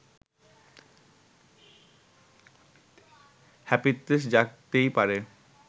হাপিত্যেশ জাগতেই পারে